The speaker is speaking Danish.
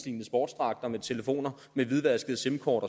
i ens sportsdragter med telefoner med hvidvaskede simkort